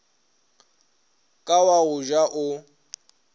ka wa go ja o